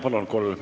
Palun!